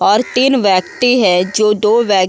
और व्यक्ति तीन हैं जो दो व्यक् --